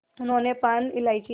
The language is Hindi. उन्होंने पान इलायची